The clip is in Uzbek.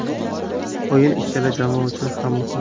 O‘yin ikkala jamoa uchun ham muhim.